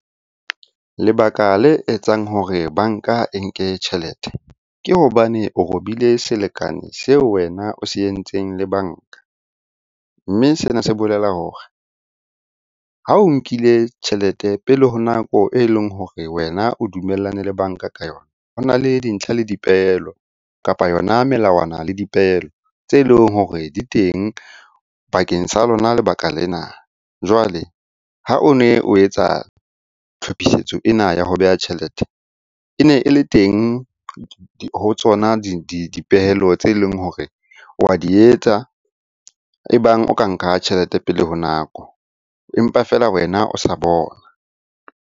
Lebaka le etsang hore banka e nke tjhelete ke hobane o robile selekane seo wena o se entseng le banka. Mme sena se bolela hore ha o nkile tjhelete pele ho nako e leng hore wena o dumellane le banka ka yona, ho na le dintlha le dipehelo, kapa yona melawana le dipehelo tse leng hore di teng bakeng sa lona lebaka lena. Jwale ha o ne o etsa tlhopisetso ena ya ho beha tjhelete, e ne e le teng ho tsona dipehelo tse leng hore wa di etsa e bang o ka nka tjhelete pele ho nako. Empa feela wena o sa bona.